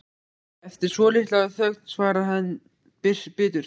Eftir svolitla þögn svarar hann biturt